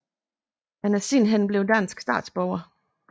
Han er siden hen blevet dansk statsborger